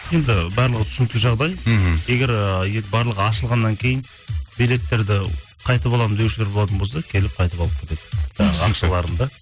енді барлығы түсінікті жағдай мхм егер ыыы барлығы ашылғаннан кейін билеттерді қайтып аламын деушілер болатын болса келіп қайтып алып кетеді ы ақшаларын да